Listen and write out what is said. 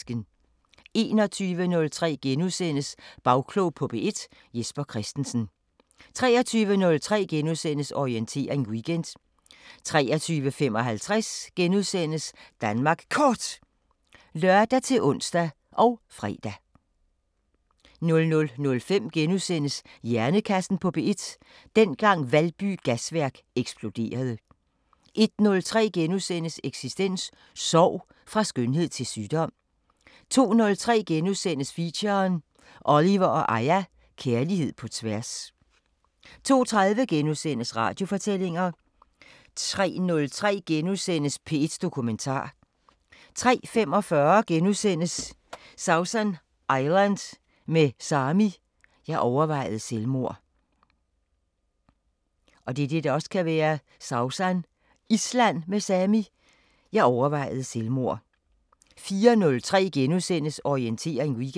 21:03: Bagklog på P1: Jesper Christensen * 23:03: Orientering Weekend * 23:55: Danmark Kort *(lør-ons og fre) 00:05: Hjernekassen på P1: Dengang Valby Gasværk eksploderede * 01:03: Eksistens: Sorg – fra skønhed til sygdom * 02:03: Feature: Oliver & Aya – Kærlighed på tværs * 02:30: Radiofortællinger * 03:03: P1 Dokumentar * 03:45: Sausan Island med Sami: "Jeg overvejede selvmord" * 04:03: Orientering Weekend *